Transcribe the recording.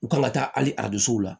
U kan ka taa hali arajosow la